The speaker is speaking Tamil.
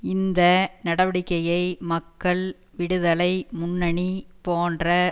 இந்த நடவடிக்கையை மக்கள் விடுதலை முன்னணி போன்ற